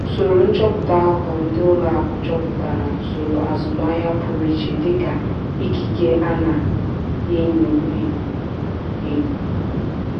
usoro nchọpụta aghụghọ ndị ụlọ akụ chọpụtara usoro azụmaahịa pụrụ iche dịka ikike a na-enyo enyo. enyo.